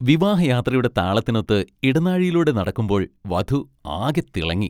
വിവാഹയാത്രയുടെ താളത്തിനൊത്ത് ഇടനാഴിയിലൂടെ നടക്കുമ്പോൾ വധു ആകെ തിളങ്ങി.